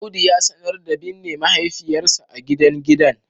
Audu ya sanar da binne mahaifiyarsa a gidan gidan